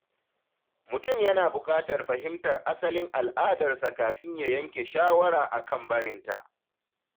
Mutum yana buƙatar fahimtar asalin al’adarsa kafin ya yanke shawara akan barinta.